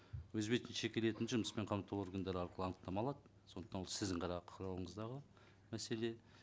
өз бетінше келетін жұмыспен қамту органдары арқылы анықтама алады сондықтан ол сіздің ғана қарауыңыздағы мәселе